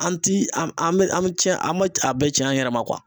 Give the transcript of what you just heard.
An ti an mi an ma a bɛɛ cɛn an yɛrɛ ma